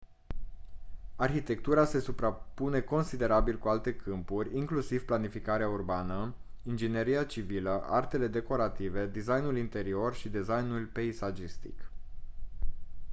arhitectura se suprapune considerabil cu alte câmpuri inclusiv planificarea urbană ingineria civilă artele decorative designul interior și designul peisagistic